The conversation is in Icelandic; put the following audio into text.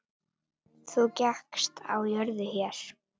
Þú gekkst á jörðu hér.